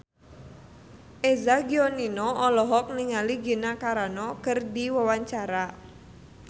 Eza Gionino olohok ningali Gina Carano keur diwawancara